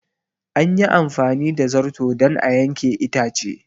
An yi amfani da zarto don a yanke itace.